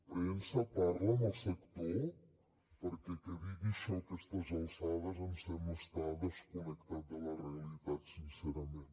premsa parla amb el sector perquè que digui això a aquestes alçades em sembla estar desconnectat de la realitat sincerament